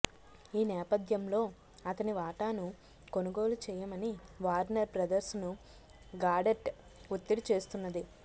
ఈ నేపథ్యంలో అతని వాటాను కొనుగోలు చేయమని వార్నర్ బ్రదర్స్ను గాడట్ ఒత్తిడి చేస్తున్నది